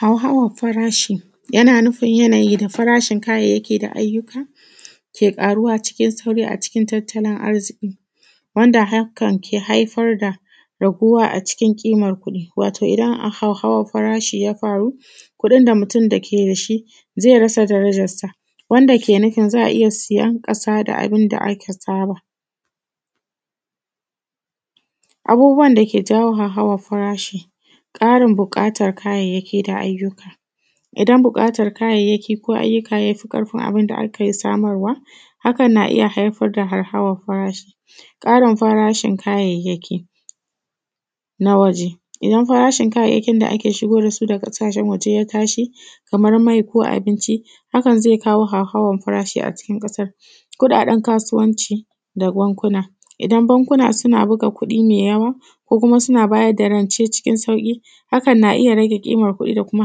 Harhawan farashi, yana nufin yanayi da farashin kayayyaki da ayyuka ke ƙaruwa cikin sauri a cikin tattalin arziki, wanda hakan ke haifar da raguwa a cikin ƙiman ƙudi, wato idan a hauhawan farashi ya faru kuɗin da mutum dake dashi zai rasa darajarsa, wanda ke nufin za a iya siyan ƙasa da abunda aka saba. Abubuwan dake jawo hauhawan farashi: ƙarin buƙatan kayayyaki da ayyuka. Idan buƙatan kayayyaki ko ayyuka yafi ƙarfin abinda ake samarwa, hakan na iya haifar da hauhawan farashi. ƙarin farashin kayayyaki na waje, idan farashin kayayyakin da ake shigowa dasu daga ƙasashen waje ya tashi, kamar mai ko abinci, hakan zai kawo hauhawan farashi a cikin ƙasar. Kuɗaɗen kasuwanci da bankuna, idan bankuna suna buga kuɗi mai yawa, ko kuma suna bayar da rance cikin sauƙi hakan na iya rage ƙimar kuɗi da kuma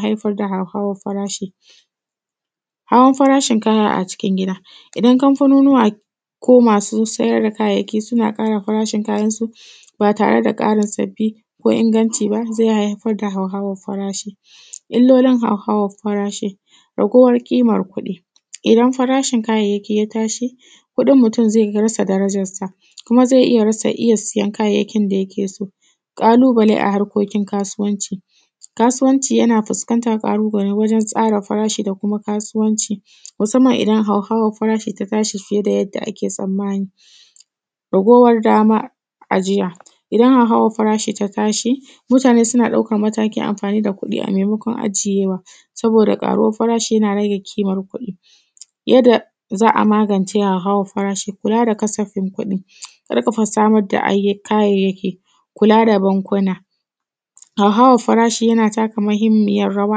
haifar da hauhawan farashi. Hawan farashin kaya a cikin gida: idan kamfanonuwa ko masu sayar da kayayyaki suna ƙara farashin kayayyakinsu, ba tare da ƙara sabbi ko inganci ba zai haifar da hauhawan farashi. Illolin hauhawan farashi: raguwar ƙiman kuɗi, idan farashin kayyayaki ya tashi kuɗin mutum zai rasa darajansa, kuma zai iya rasa iya siyan kayayyakin da yake so. ƙalubale a harkokin kasuwanci: Kasuwanci yana fuskanta ƙalubale wajen tsara farashi da kuma kasuwanci, musamman idan hauhawan farashi ta tashi fiye da yadda ake tsammani. Ragowar dama ajiya: idan hauhawan farashi ta tashi, mutane suna ɗaukan matakin amfani da kuɗi a maimakon ajiyewa, saboda ƙaruwar farashi yana rage ƙimar kuɗi. Yadda za a magance hauhawan farashi: kula da kasafin kuɗi, ƙarfafa samar da kayayyaki, kula da bankuna. Hauhawan farashi yana taka muhimmiyar rawa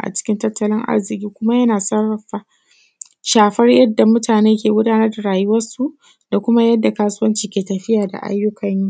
a cikin tattalin arziki kuma yana sarrafa shafar yadda mutane ke gudanar da rayuwarsu da kuma yadda kasuwanci ke tafiya da ayyukan yi.